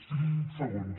cinc segons